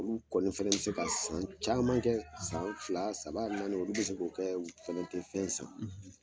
Olu kɔni fɛnɛ be se ka san caman kɛ san fila saba naani olu be se k'o kɛ u fɛnɛ tɛ fɛn san